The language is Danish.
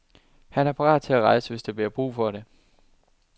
Han er parat til at rejse, hvis der bliver brug for det.